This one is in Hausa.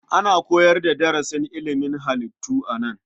Ana koyar da darasin ilimin halittu a nan.